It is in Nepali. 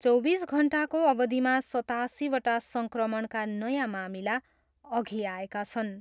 चौबिस घन्टाको अवधिमा सतासीवटा सङ्क्रमणका नयाँ मामिला अघि आएका छन्।